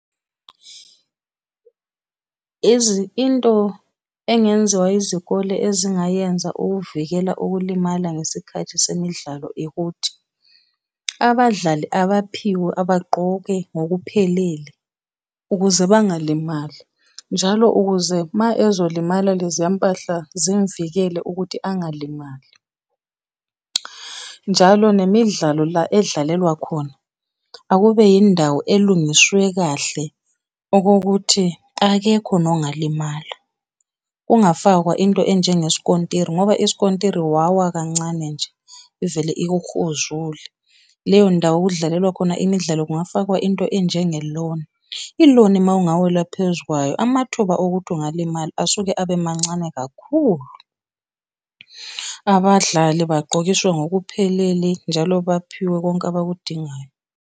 Into engenziwa izikole ezingayenza ukuvikela ukulimala ngesikhathi semidlalo ikuthi, abadlali abaphiwe abagqoke ngokuphelele ukuze bangalimali. Njalo ukuze uma ezolimala leziya mpahla zimuvikele ukuthi angalimali. Njalo nemidlalo la edlalelwa khona, akube indawo elungiswe kahle okokuthi akekho nongalimala. Kungafakwa into enjengesikontiri, ngoba isikontiri wawa kancane nje ivele ikuhuzule. Leyo ndawo okudlalelwa khona imidlalo kungafakwa into enjenge loni, iloni mawungawela phezu kwayo amathuba okuthi ungalimala asuke abe mancane kakhulu. Abadlali bagqokiswe ngokuphelele njalo baphiwe konke abakudingayo.